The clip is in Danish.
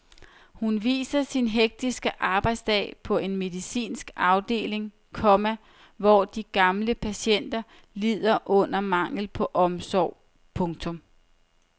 Hun viser sin hektiske arbejdsdag på en medicinsk afdeling, komma hvor de gamle patienter lider under manglen på omsorg. punktum